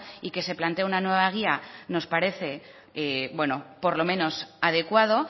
y que se plantee una nueva guía nos parece bueno por lo menos adecuado